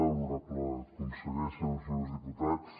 honorable conseller senyores i senyors diputats